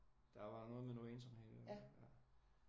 Der var noget med noget ensomhed